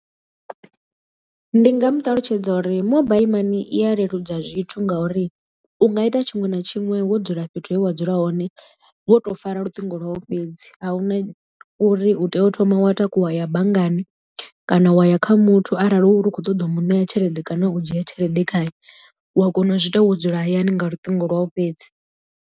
Ndi nga mu ṱalutshedza uri mobile mani i ya leludza zwithu nga uri u nga ita tshiṅwe na tshiṅwe wo dzula fhethu he wa dzula hone wo to fara luṱingo lwau fhedzi a huna uri u tea u thoma wa takuwa wa ya banngani kana wa ya kha muthu arali hu uri u kho ṱoḓa u mu ṋea tshelede kana u dzhia tshelede khaye u a kona u zwiita wo dzula hayani nga luṱingo lwau fhedzi.